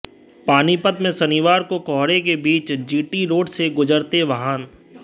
पानीपत में शनिवार को कोहरे के बीच जीटी रोड से गुजरते वाहन